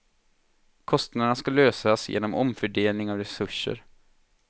Kostnaderna ska lösas genom omfördelning av resurser.